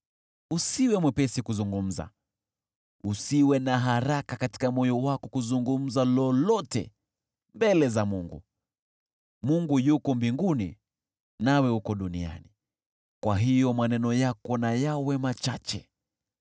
Usiwe mwepesi kuzungumza, usiwe na haraka katika moyo wako kuzungumza lolote mbele za Mungu. Mungu yuko mbinguni nawe uko duniani, kwa hiyo maneno yako na yawe machache.